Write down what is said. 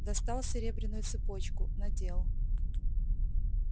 достал серебряную цепочку надел